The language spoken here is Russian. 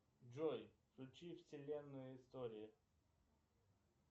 джой включи вселенную истории